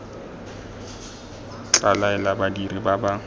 tla laela badiri ba ba